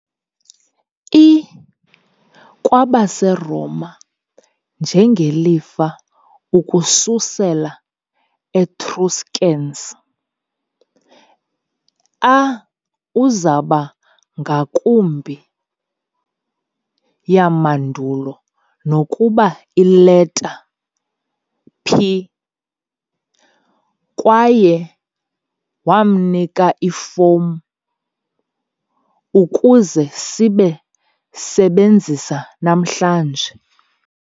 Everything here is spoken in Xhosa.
I - kwabaseroma njengelifa ukususela etruscans, a uzoba ngakumbi yamandulo kunokuba ileta "pi", kwaye wamnika ifomu ukuze sibe sebenzisa namhlanje.